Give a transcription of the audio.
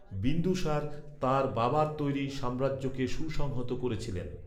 বিন্দুসার, তাঁর বাবার তৈরি সাম্রাজ্যকে সুসংহত করেছিলেন।